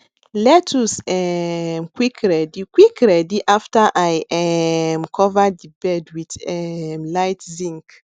lettuce um quick ready quick ready after i um cover the bed wth um light zinc